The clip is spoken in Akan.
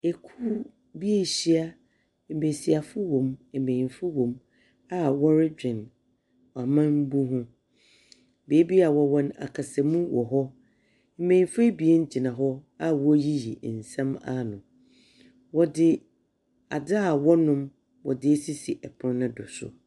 Ekuo bi ahyia embesiafo wɔ mu, embenyinfo wɔ mu a wɔredwen ɔmanbu ho. Beebia wɔ wɔ no akasa mu wɔ hɔ. Mmenyinfo ebien gyina hɔ a wɔɔyiyi nsɛm ano. Adze a wɔnom wɔdze asisi ɛpono ne do so.